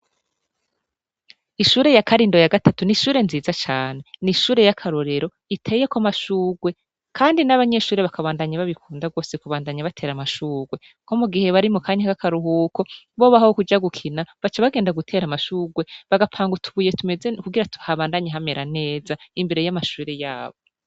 Ishure ya karindo ya gatatu ni ishure nziza cane ni ishure y'akarorero iteye ko amashurwe, kandi n'abanyeshure bakabandanyi babikunda rwose kubandanya batera amashurwe ko mu gihe bari mu kanya k'akaruhuko bobaho wo kuja gukina baca bagenda gutera amashurwe bagapanga utubuye tumeze kugira tuhabandanye hamera neza imbere y'amashure yabo.